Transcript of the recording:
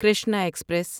Krishna express